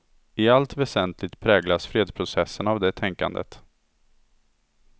I allt väsentligt präglas fredsprocessen av det tänkandet.